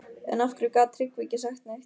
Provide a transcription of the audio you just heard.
En af hverju gat Tryggvi ekki sagt neitt?